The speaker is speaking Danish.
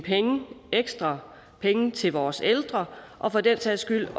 ekstra penge til vores ældre og for den sags skyld